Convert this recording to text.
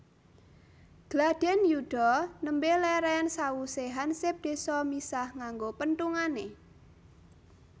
Gladhen yuda nembe leren sawuse hansip désa misah nganggo penthungane